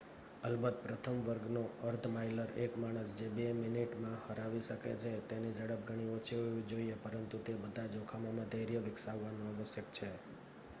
અલબત્ત પ્રથમ વર્ગનો અર્ધ માઇલર એક માણસ જે બે મિનિટમાં હરાવી શકે છે તેની ઝડપ ઘણી ઓછી હોવી જોઈએ પરંતુ તે બધા જોખમોમાં ધૈર્ય વિકસાવવું આવશ્યક છે